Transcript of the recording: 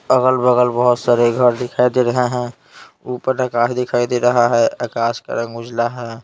अगल-बगल बहुत सारे घर दिखाई दे रहे हैं ऊपर आकाश दिखाई दे रहा है आकाश का रंग उजला है ।